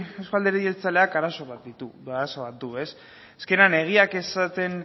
euzko alderdi jeltzaleak arazo bat du ez azkenean egiak esaten